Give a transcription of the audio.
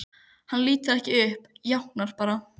Hann lítur ekki upp, jánkar bara.